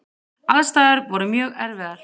Aðstæður voru mjög erfiðar.